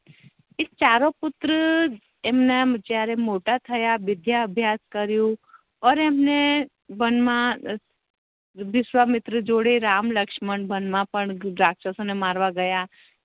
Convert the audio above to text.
એ ચારો પુત્ર એમના જયારે મોટા થયા વિદ્યા અભ્યાસ કર્યું ઔર એમ ને વન મા વિશ્વામિત્ર જોડે રામ લક્ષ્મણ બનવા રક્ષશો ને મારવા ગેયા